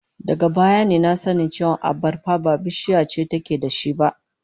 Daga baya ne na san cewa abarba ba bishiya ce take da shi ba